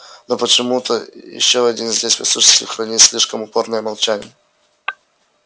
но почему-то ещё один здесь присутствующий хранит слишком упорное молчание